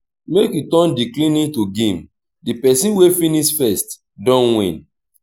make we turn di cleaning to game di pesin wey finish first don win.